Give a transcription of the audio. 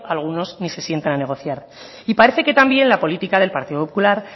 algunos no sientan a negociar y parece que también la política del partido popular